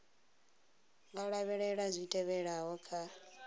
nga lavhelela zwi tevhelaho kha